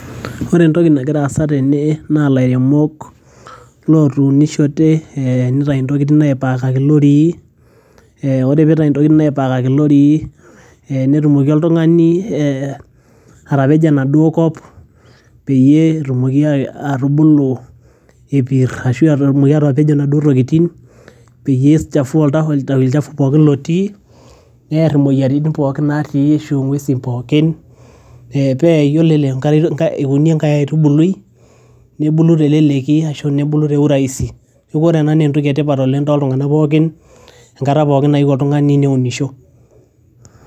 ore entoki nagira aasa tene naa ilairemok lotunishote nitai intokitin aipakaki ilorii eh, ore pitai intokitin aipakaki ilorii eh netumoki oltung'ani eh atapejo enaduo kop peyie etumoki atubulu epirr ashu etumoki atapejo inaduo tokitin peyie ichafua olchafu pookin lotii nerr imoyiaritin pookin natii ashu ing'uesin pookin pee yiolo eikuni enkae aitubulai nebulu teleleki ashu nebulu te urahisi neeku ore ena naa entoki etipat toltung'anak pookin enkata pookin nayieu oltung'ani neunisho.